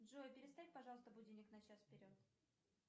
джой переставь пожалуйста будильник на час вперед